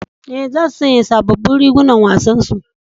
E, za su sanya sabobbin rigunan wasan su.